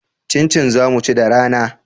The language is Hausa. Cincin za mu ci da rana